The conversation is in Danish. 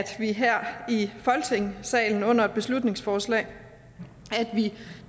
her i folketingssalen under et beslutningsforslag